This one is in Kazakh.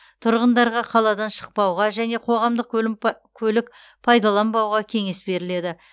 тұрғындарға қаладан шықпауға және қоғамдық көлік пайдаланбауға кеңес беріледі